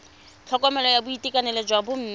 tlhokomelo ya boitekanelo jwa bomme